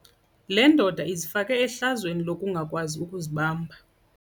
Le ndoda izifake ehlazweni lokungakwazi ukuzibamba.